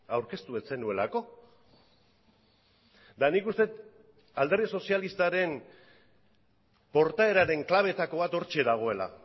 aurkeztu ez zenuelako eta nik uste dut alderdi sozialistaren portaeraren klabeetako bat hortxe dagoela